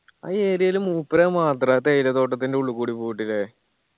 ആ area ല് മൂപര് മാത്ര തേയിലത്തോട്ടത്തിന്റെ ഉള്ളിക്കൂടി പോയിട്ടില്ലേ